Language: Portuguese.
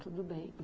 Tudo bem.